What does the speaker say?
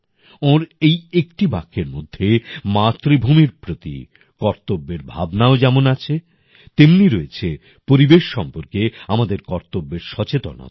ওঁর এই একটি বাক্যের মধ্যে মাতৃভূমির প্রতি কর্তব্যের ভাবনাও যেমন আছে তেমনি রয়েছে পরিবেশ সম্পর্কে আমাদের কর্তব্যের সচেতনতা